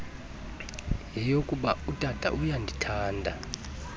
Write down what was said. yeyokuba utata uyandithanda